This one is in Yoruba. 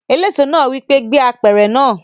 Eléso náà wí pé "gbé apẹ̀rẹ̀ náà!"